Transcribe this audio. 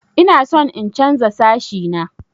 Ina son in chanza sashi na.